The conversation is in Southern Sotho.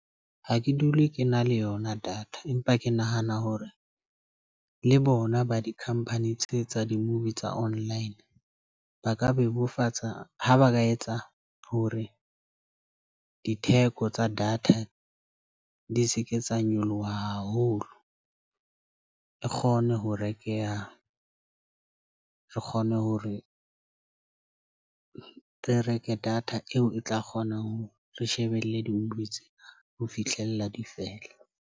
Ha ke dule ke na le yona data empa ke nahana hore le bona ba dikhampani tse tsa di-movie tsa online. Ba ka bebofatsa ha ba ka etsa hore ditheko tsa data di seke tsa nyoloha haholo e kgone ho rekeha. Re kgone hore re reke data eo e tla kgona ho re shebelle di-movie tse ho fihlella difela.